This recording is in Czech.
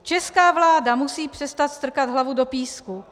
Česká vláda musí přestat strkat hlavu do písku.